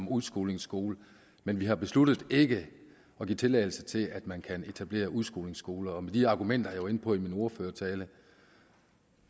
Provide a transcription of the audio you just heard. udskolingsskole men vi har besluttet ikke at give tilladelse til at man kan etablere udskolingsskoler og med de argumenter som jeg var inde på i min ordførertale